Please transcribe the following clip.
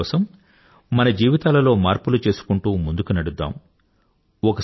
దేశహితం కోసం మన జీవితాలలో మార్పులు చేసుకుంటూ ముందుకి నడుద్దాం